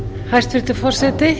hæstvirtur forseti